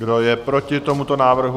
Kdo je proti tomuto návrhu?